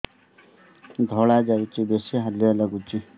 ଧଳା ଯାଉଛି ବେଶି ହାଲିଆ ଲାଗୁଚି